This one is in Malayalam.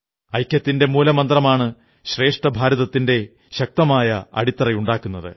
ഐക്യത്തിന്റെ മൂലമന്ത്രമാണ് ശ്രേഷ്ഠഭാരതത്തിന്റെ ശക്തമായ അടിത്തറയുണ്ടാക്കുന്നത്